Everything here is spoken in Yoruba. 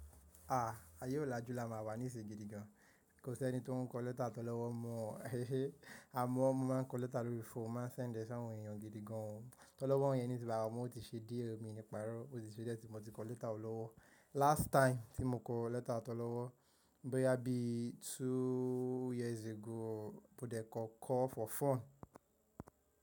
Ah! Ayé ọ̀làjú la máa wà nísìnyí gidi gan. Kò sí ẹni tó ń kọ lẹ́tà tólọ́wọ́ mọ́. Àmọ́ mọ́ máa ń kọ lẹ́tà lórí fóònù, máa ń sẹ́ndẹ̀ fún àwọn èèyàn gidi gan. Tọ́lọ́wọ́ yẹn ní tí bàa wọ́n, ó ti ṣe die, mi ni paró, o ti sẹ́ diẹ̀ tí mo ti kọ lẹ́tà tó lọ́wọ́. Last time tí mo kọ lẹ́tà tó lọ́wọ́, bóyá bí two years ago, mo dẹ̀ kọ call for fun.